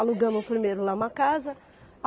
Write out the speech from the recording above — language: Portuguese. Alugamos primeiro lá uma casa.